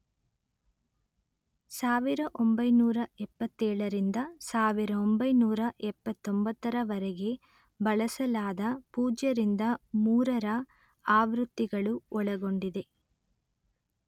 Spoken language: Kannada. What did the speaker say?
ಸಾವಿರ ಒಂಬೈನೂರಾ ಎಪ್ಪತ್ತೇಳ ರಿಂದ ಸಾವಿರ ಒಂಬೈನೂರಾ ಎಪ್ಪತ್ತೊಂಬತ್ತರ ವರೆಗೆ ಬಳಸಲಾದ ಪೂಜ್ಯ ರಿಂದ ಮೂರರ ಆವೃತ್ತಿಗಳು ಒಳಗೊಂಡಿದೆ